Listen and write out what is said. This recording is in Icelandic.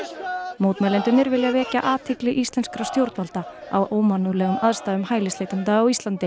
mótmælendurnir vilja vekja athygli íslenskra stjórnvalda á ómannúðlegum aðstæðum hælisleitenda á Íslandi